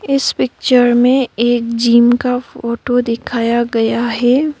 इस पिक्चर में एक जिम का फोटो दिखाया गया है।